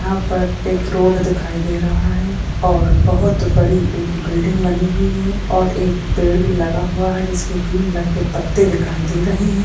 यहा पर एक रोड दिखाई दे रहा है और बहुत बड़ी एक बिल्डिंग बनी हुई हैं और एक पेड़ भी लगा हुआ है जिसके तीन लटके पत्ते दिखाई दे रहे हैं।